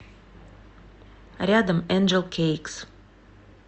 рядом энджел кейкс